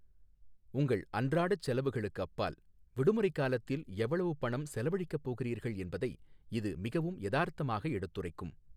உங்கள் அன்றாடச் செலவுகளுக்கு அப்பால், விடுமுறைக் காலத்தில் எவ்வளவு பணம் செலவழிக்கப் போகிறீர்கள் என்பதை இது மிகவும் யதார்த்தமாக எடுத்துரைக்கும்.